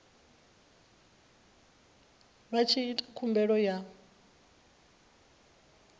vha tshi ita khumbelo ya